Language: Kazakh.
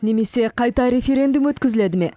немесе қайта референдум өткізіледі ме